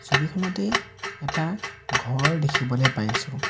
ছবিখনতেই এটা ঘৰ দেখিবলৈ পাইছোঁ।